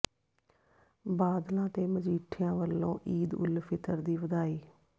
ਬਾਦਲਾਂ ਤੇ ਮਜੀਠੀਆ ਵੱਲੋਂ ਈਦ ਉਲ ਫਿਤਰ ਦੀ ਵਧਾਈ